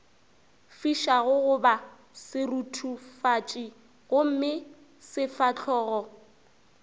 fišago goba seruthufatši gomme sefahlogo